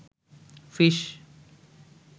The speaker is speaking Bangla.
ফিস